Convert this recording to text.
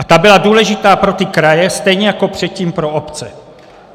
A ta byla důležitá pro ty kraje, stejně jako předtím pro obce.